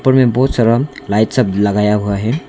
ऊपर में बहुत सारा लाइट सब लगाया हुआ है।